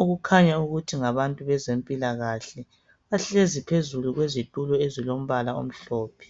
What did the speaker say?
Okukhanya ukuthi ngabantu bezempilakahle. Bahlezi phezulu kwezitulo ezilombala omhlophe.